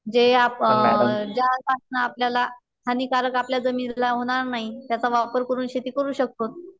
जे आप अ ज्या पासन आपल्याला हानिकारक आपल्या जमिनीला होणार नाही त्याचा वापर करून शेती करू शकतो.